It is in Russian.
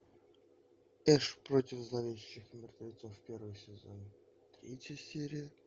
эш против зловещих мертвецов первый сезон третья серия